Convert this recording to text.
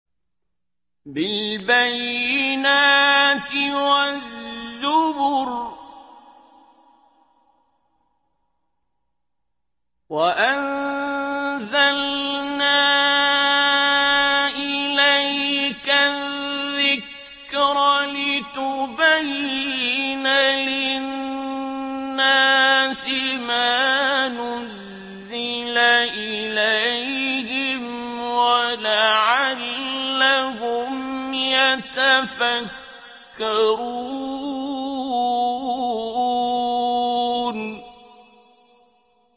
بِالْبَيِّنَاتِ وَالزُّبُرِ ۗ وَأَنزَلْنَا إِلَيْكَ الذِّكْرَ لِتُبَيِّنَ لِلنَّاسِ مَا نُزِّلَ إِلَيْهِمْ وَلَعَلَّهُمْ يَتَفَكَّرُونَ